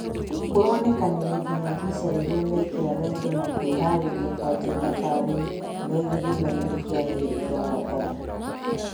Kũronekanire nginya visa rĩrĩa meekĩraga indo na kwĩharĩria kuanjia thabarĩ me gĩthimainĩ kĩa meri kĩa Mombatha.